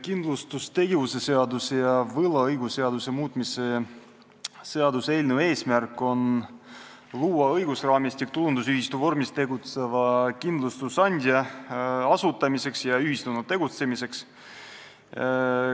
Kindlustustegevuse seaduse ja võlaõigusseaduse muutmise seaduse eelnõu eesmärk on luua õigusraamistik tulundusühistu vormis tegutseva kindlustusandja asutamiseks ja ühistuna tegutsemiseks.